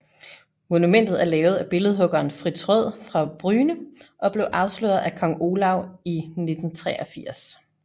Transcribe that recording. Monumentet er lavet af billedhuggeren Fritz Røed fra Bryne og blev afsløret af Kong Olav i 1983